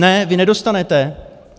Ne, vy nedostanete?